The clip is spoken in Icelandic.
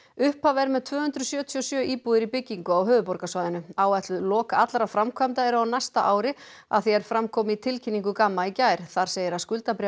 upphaf er með tvö hundruð sjötíu og sjö íbúðir í byggingu á höfuðborgarsvæðinu áætluð lok allra framkvæmda eru á næsta ári að því er fram kom í tilkynningu Gamma í gær þar segir að